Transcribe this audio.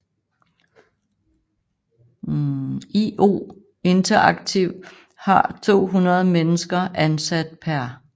IO Interactive har 200 mennesker ansat per